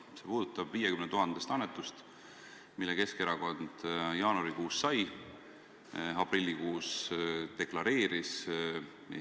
See puudutab 50 000-list annetust, mille Keskerakond jaanuarikuus sai ja aprillikuus deklareeris.